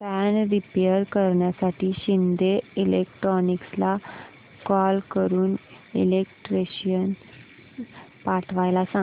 fan repair करण्यासाठी शिंदे इलेक्ट्रॉनिक्सला call करून इलेक्ट्रिशियन पाठवायला सांग